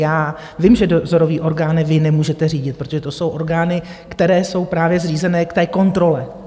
Já vím, že dozorové orgány vy nemůžete řídit, protože to jsou orgány, které jsou právě zřízené k té kontrole.